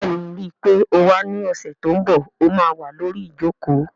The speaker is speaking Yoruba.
Bẹ́ẹ̀ni, ríi pé o wá ní ọ̀sẹ̀ tó n bọ̀, ó má wà lórí ìjòkó